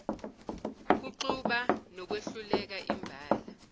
kuxuba nokwehluleka imbala